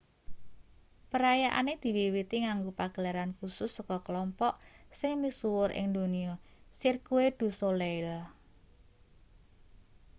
perayaane diwiwiti nganggo pagelaran kusus saka kelompok sing misuwur ing donya cirque du soleil